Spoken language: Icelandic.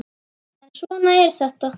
En svona er þetta.